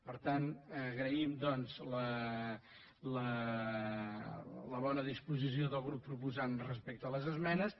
per tant agraïm doncs la bona disposició del grup proposant respecte a les esmenes